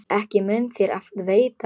Ekki mun þér af veita.